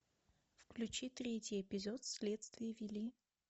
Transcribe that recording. включи третий эпизод следствие вели